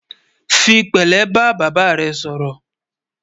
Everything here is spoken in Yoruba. fí pèlé bá bàbá rè sòrò